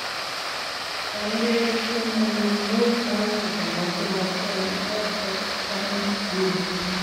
Cham keketchin konyil 5 akoi 33 eng fxn gene